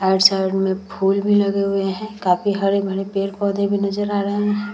Side में फूल भी लगे हुए हैं। काफी हरे-भरे पेड़-पौधे भी नज़र आ रहे हैं।